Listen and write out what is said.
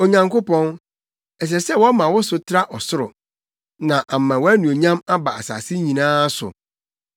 Onyankopɔn, ɛsɛ sɛ wɔma wo so tra ɔsoro, na ama wʼanuonyam aba asase nyinaa so.